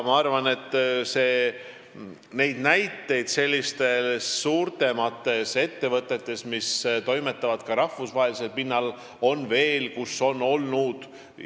Ma arvan, et neid näiteid on suuremates ettevõtetes, mis toimetavad ka rahvusvaheliselt, veel olnud.